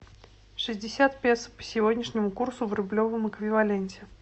шестьдесят песо по сегодняшнему курсу в рублевом эквиваленте